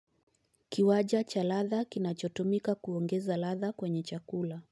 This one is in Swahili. Kiwanja cha ladha kinachotumika kuongeza ladha kwenye chakula.